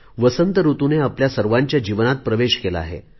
वसंत ऋतूने आपल्या सर्वांच्या जीवनात प्रवेश केला आहे